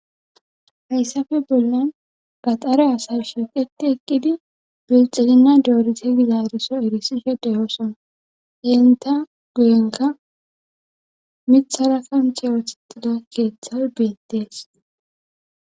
hayssafe bollen gaxare asas shilqeti eqqidi bilxilina doorise gizaariso erisise deyoosona enta guyenka mithara kanche ooththetida keeththay beettees